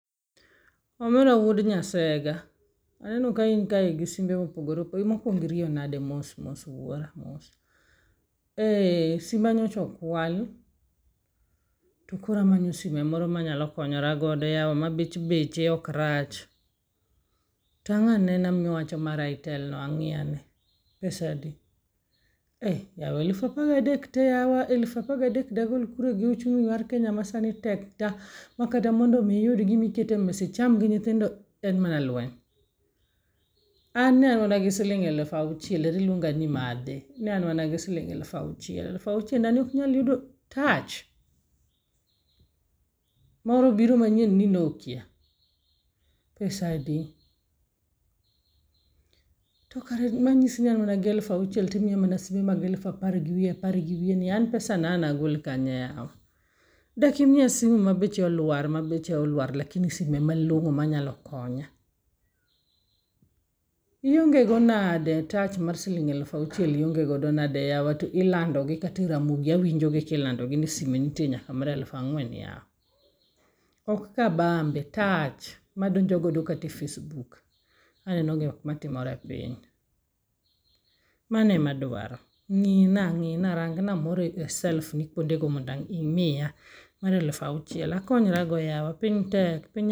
Omera wuod nyasega, aneno ka in kae gi simbe mopogore opogore. Mokwongo iriyo nade mos mos wuora, mos. Ee simba nyochokwal, to koro amanyo sime moro manyalo konyora godo yawa ma bet beche ok rach. Tang' anena miwacho mar Itel no ang'i ane, pesa adi? Eh, yawa elufapagadek te yawa elufapagadek dagol kure gi uchumi mar Kenya ma sani tek ta. Makata mondo mi iyud gimikete mesa icham gi nyithindo en mana lweny. An ne an mana gi siling' elufauchiel, eriluonga ni madhe, ne an mana gi siling' elufauchiel, elufauchienda ni ok nyal yudo tach! Moro obiro manyien ni Nokia, pesa adi? To kare manyisi ni an gi elufauchiel timiya mana simbe mag elufapar gi wiye apar gi wiye ni an pesa no an nagol kanye yawa. Dak imiya simu ma beche olwar ma beche olwar lakini sime malong'o manyalo konya. Ionge go nade tach mar siling' elufauchiel ionge godo nade yawa to ilando gi kate Ramogi awinjo kilando gi ni sime nitie nyaka mar elufang'wen yawa. Ok kabambe, tach! Madonjogodo kate Facebook, anenogo gik matimore e piny. Mano e madwaro. Ng'ina, ng'ina rang na moro e self ni kuonde go mondo imiya mar elufauchiel akonyrago yawa piny tek piny.